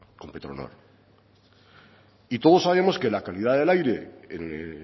con petronor todos sabemos que la calidad del aire en el